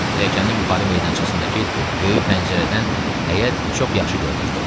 Pilləkənin yuxarı meydançasındakı böyük pəncərədən həyət çox yaxşı görünürdü.